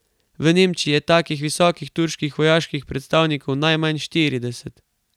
V Nemčiji je takih visokih turških vojaških predstavnikov najmanj štirideset.